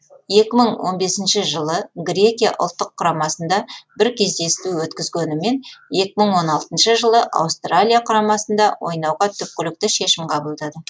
екі мың он бесінші жылы грекия ұлттық құрамасында бір кездесу өткізгенімен екі мың он алтыншы жылы аустралия құрамасында ойнауға түпкілікті шешім қабылдады